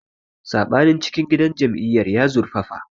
Saɓanin cikin gidan jam'iyyar ya zurfafa.